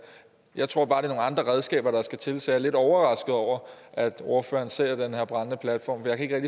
jeg tror bare det er nogle andre redskaber der skal til så jeg er lidt overrasket over at ordføreren ser den her brændende platform